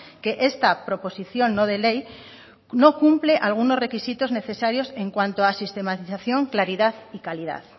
que esta proposición no de ley no cumple algunos requisitos necesarios en cuanto a sistematización claridad y calidad